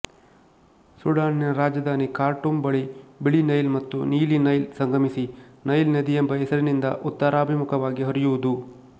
ಸುಡಾನಿನ ರಾಜಧಾನಿ ಖಾರ್ಟೂಮ್ ಬಳಿ ಬಿಳಿ ನೈಲ್ ಮತ್ತು ನೀಲಿ ನೈಲ್ ಸಂಗಮಿಸಿ ನೈಲ್ ನದಿಯೆಂಬ ಹೆಸರಿನಿಂದ ಉತ್ತರಾಭಿಮುಖವಾಗಿ ಹರಿಯುವುದು